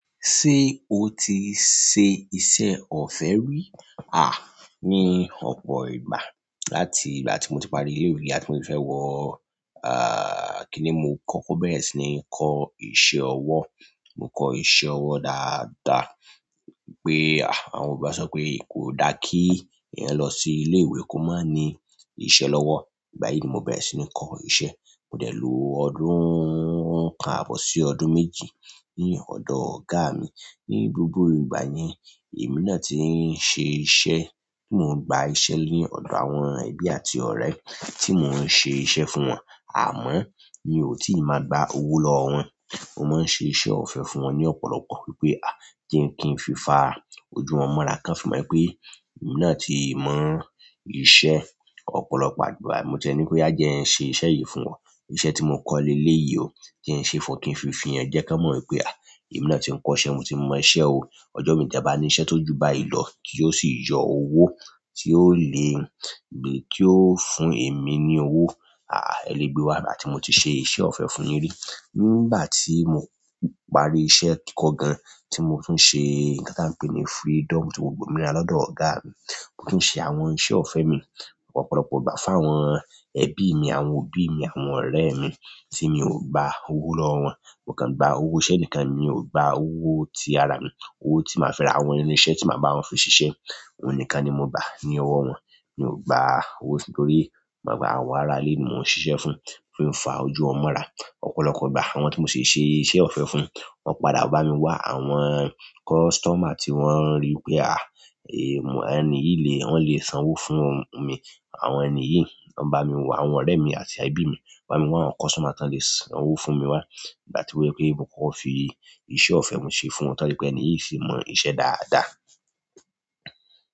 Ṣé o ti ṣe iṣẹ́ ọ̀fẹ́ rí? À, ní ọ̀pọ̀ ìgbà. Látì í ìgbà tí mo ti parí ilé ìwé àti mo ti fẹ́ wọ, kíni mo kọ́kọ́ bẹ̀rẹ̀ sí ní kọ́ iṣẹ́ ọwọ́. Mo kọ́ iṣẹ́ ọwọ́ dáadáa, pé àwọn yorùbá sọ pé kò dá kí èèyàn lọ sí ilé ìwé kó má ní iṣẹ́ lọ́wọ́. Ìgbà yìí ni mo bẹ̀rẹ̀ sí ní kọ́ iṣẹ́. Mo dẹ̀ lọ ọdún, kan àbọ̀ sí ọdún méjì ní ọ̀dọ̀ ọ̀gá mi. Ni gbogbo ìgbàyen èmi náà ti n ṣe iṣẹ́ tí mo gba iṣẹ́ ní ọ̀dọ̀ àwọn ẹbí àti ọ̀rẹ́ tí mo n ṣe iṣẹ́ fún wọn. Àmọ́ mi ò tí máa gba owó lọ́wọ́ wọn. Mo má n ṣe iṣẹ́ ọ̀fẹ́ fún wọn ní ọ̀pọ̀lọpọ̀ wípé je kí ń fi fa ojú wọn mọ́ra kan fi mọ́ pé èmi náà ti mọ iṣẹ́. Ọ̀pọ̀lọpọ̀ ìgbà ma ti ni pe oya je n se iṣẹ́ yìí fún won iṣẹ́ tí mo kọ́ leléyì ò, je ń ṣe fún o kí ń fi fihàn ẹ jẹ́ kí wọn mọ̀ wípé èmi náà ti ń kọ́ iṣẹ́, mo ti mọ iṣẹ́ ò. Ọjọ́ imí ti e bá ní iṣẹ́ tó jù báyi lọ tí ó sì yọ owó tí ó le, bí tí ó fún èmi ní owó. Ẹ lè gbé wá ìgbà tí mo ti ṣe iṣẹ́ ọ̀fẹ́ fún yin rí. Ni ìgbà tí mo parí iṣẹ́ kiko gan tí mo tuń ṣe, nkán tí a ń pè ní freedom tí mo gba ominira lọ́dọ̀ ọ̀gá mi. Mo ti ń ṣe àwọn iṣẹ́ ọ̀fẹ́ mi ọ̀pọ̀lọpọ̀ ìgbà fún àwọn ẹbí mi, àwọn òbí mi, àwọn ọ̀rẹ́ mi tí mi ò gba owó lọ́wọ́ wọn. Mo kàn gba owó iṣẹ́ nìkan, mi ò gba owó tí ara mi, owó tí màá fẹ́ ra àwọn irinṣẹ́ tí màá bá wọn fi ṣiṣẹ́. Òhun nìkan ni mo gbá ní owó wọn. Mi ò gba owó torí mo mọ̀ pé àwọn ará ilé ni mo ń ṣiṣẹ́ fún, mo fi ń fa ojú wọn mọ́ra. Ọ̀pọ̀lọpọ̀ ìgbà àwọn tí mo ṣe ṣe iṣẹ́ ọ̀fẹ́ fún, wọn padà bá mi wá àwọn customer tí wọ́n rí pé èni yìí lè, wọn lè san owó fún mi. Àwọn ènìyí, wọn bá mi wá àwọn ọ̀rẹ́ mi àti ẹbí mi, bá mi wá àwọn customer tí wọ́n lè san owó fún mi wá. Ìgbà tí ó wípé mo kọ́kọ́ fi iṣẹ́ ọ̀fẹ́ mi ṣe fún wọn, tán ní pé ènìyí ṣe mọ iṣẹ́ dáadáa.